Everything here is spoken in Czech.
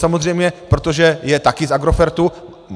Samozřejmě, protože je taky z Agrofertu.